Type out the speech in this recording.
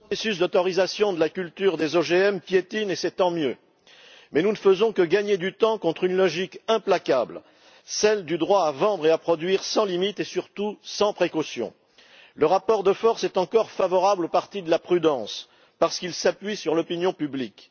Monsieur le Président, chers collègues, le processus d'autorisation de la culture des OGM piétine, et c'est tant mieux! Mais nous ne faisons que gagner du temps contre une logique implacable celle du droit à vendre et à produire sans limite et surtout sans précaution. Le rapport de force est encore favorable au parti de la prudence, parce qu'il s'appuie sur l'opinion publique.